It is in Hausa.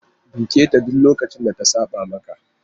Duketa duk lokacin da ta saba maka!